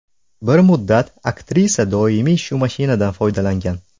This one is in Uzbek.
Bir muddat aktrisa doimiy shu mashinadan foydalangan.